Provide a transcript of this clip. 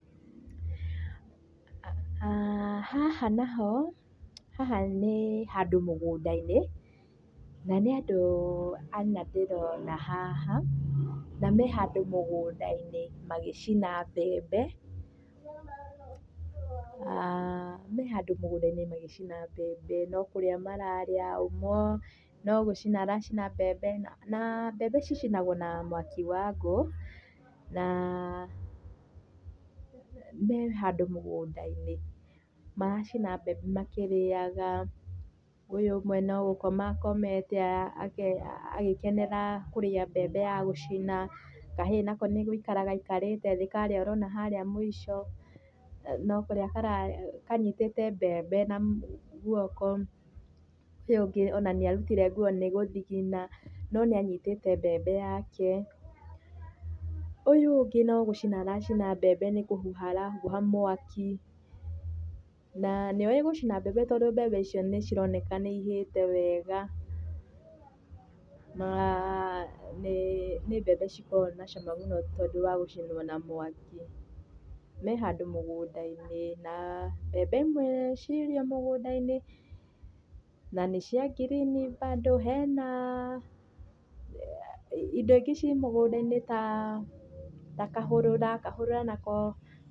Haha naho, haha nĩĩ handũ mũgũnda-inĩ, na nĩ andũ ana ndĩrona haha, na me handũ mũgũnda-inĩ magĩcina mbembe. Me handũ mũgũnda-inĩ magĩcina mbembe, no kũrĩa mararĩa, ũmwe no gũcina aracina mbembe, naa mbembe cicinagũo na mwaki wa ngũ. Naa me handũ mũgũnda-inĩ. Maracina mbembe makĩrĩaga. Ũyũ ũmwe no gũkoma akomete agĩkenera kũrĩa mbembe ya gũcina. Kahĩĩ nako nĩ gũikara gaikarĩte thĩ karĩa ũrona harĩa mũico, no kũrĩa kararĩa kanyitĩte mbembe na guoko. Ũyũ ũngĩ ona nĩarutire nguo nĩgũthigina, no nĩanyitĩte mbembe yake. Ũyũ ũngĩ no gũcina aracina mbembe nĩ kũhuha arahuha mwaki. Naa nĩoĩ gũcina mbembe tondũ mbembe icio nĩcironeka nĩihĩte wega. Naa nĩĩ, nĩ mbembe cikoragwo na cama mũno tondũ wa gũcinwo na mwaki. Me handũ mũgũnda-inĩ, naa mbembe imwe cirĩ o mũgũnda-inĩ, na nĩciangirini bado. Henaa indo ingĩ ciĩ mũgũnda-inĩ taa, ta kahũrũra, kahũrũra nako